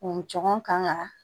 U cɔgɔn kan ka